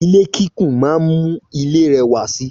Ilé kíkùn máa ń mú ilé rẹwà si.